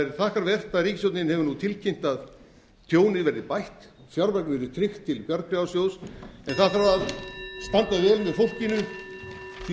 er þakkarvert að ríkisstjórnin hefur nú tilkynnt að tjónið verði bætt fjármagn yrði tryggt til bjargráðasjóðs en það þarf að standa vel með fólkinu því að